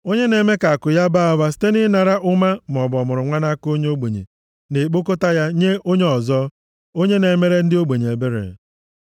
Onye na-eme ka akụ ya baa ụba site na ịnara ụma maọbụ ọmụrụnwa nʼaka onye ogbenye, na-ekpokọta ya nye onye ọzọ, onye na-emere ndị ogbenye ebere.